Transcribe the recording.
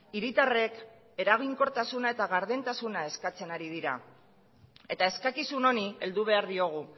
hiritarrek eraginkortasuna eta gardentasuna eskatzen ari dira eta eskakizun honi heldu behar diogu